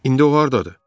İndi o hardadır?